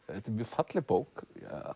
þetta er mjög falleg bók